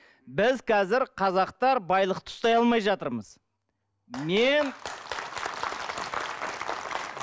біз қазір қазақтар байлықты ұстай алмай жатырмыз мен